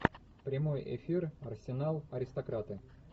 прямой эфир арсенал аристократы